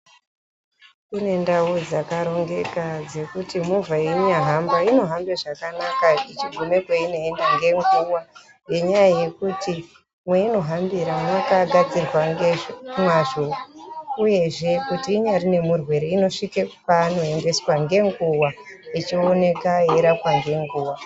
Kune ndau dzakarongeka dzekuti movha yeinyahamba inohambe zvakanaka kuenda kwainoenda ngenguva nenyaya yekuti meinohambira munenge makagadzirwa ngemwazvo uyezve kuti inyari nemurwere inosvika kwaanoendeswa ngenguva uyezve unorapwa ngenguva.